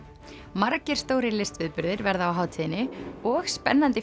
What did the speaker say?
margir stórir listviðburðir verða á hátíðinni og spennandi